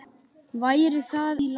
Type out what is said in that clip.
Væri það ekki í lagi?